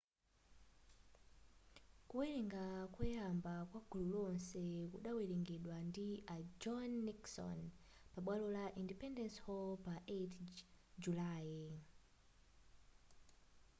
kuwerenga koyamba kwa gulu lonse kudawerengedwa ndi a john nixon pabwalo la independence hall pa 8 julayi